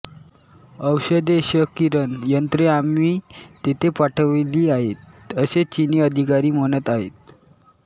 औषधे क्षकिरण यंत्रे आम्ही तेथे पाठविली आहेत असे चिनी अधिकारी म्हणत आहेत